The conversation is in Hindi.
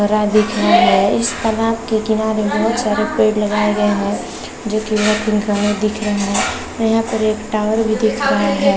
हरा दिख रहे है इस तालाब के किनारे बहुत सारे पेड़ लगाए गये है जो बहुत तिनपन्ने दिख रहे है और यहाँ पर एक टॉवर भी दिख रहे है ।